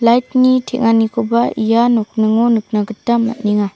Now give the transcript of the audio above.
lait ni teng·anikoba ia nokningo nikna gita man·enga.